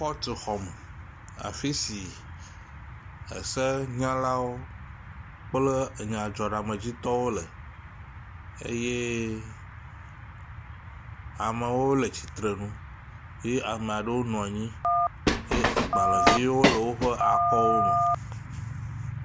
Kɔtuxɔme afisi ese nyanyalawo kple enyadzɔɖamedzitɔwo le eye amewo le atsitsrenu ye amaɖewo nɔnyi ye agbalēviwo le wóƒe akɔwo me